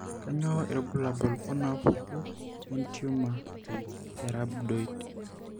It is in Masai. Kainyio irbulabul onaapuku entiumor eRhabdoid?